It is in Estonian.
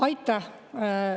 Aitäh!